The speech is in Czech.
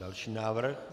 Další návrh.